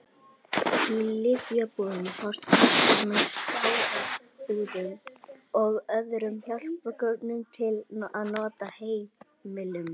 Í lyfjabúðum fást kassar með sáraumbúðum og öðrum hjálpargögnum til nota á heimilum.